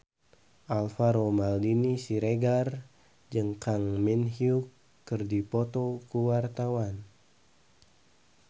Alvaro Maldini Siregar jeung Kang Min Hyuk keur dipoto ku wartawan